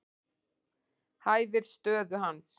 Hæfir stöðu hans.